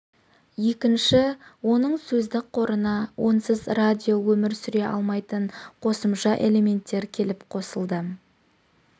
екінші оның сөздік қорына онсыз радио өмір сүре алмайтын қосымша элементтер келіп қосылды